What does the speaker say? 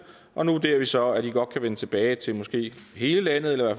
og nu vurderer vi så at i godt kan vende tilbage til måske hele landet eller i